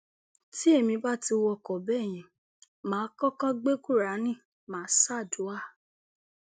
tí èmi bá ti wọkọ bẹẹ yẹn mà á kọkọ gbé kúráánì má a ṣàdùà